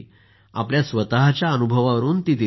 आपल्या स्वतःच्या अनुभवावरून दिली आहे